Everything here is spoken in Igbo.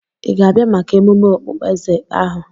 Ị ga-abịa maka emume okpueze ahu?